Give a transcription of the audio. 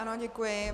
Ano, děkuji.